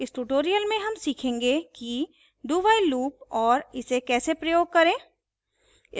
इस tutorial में हम सीखेंगे कि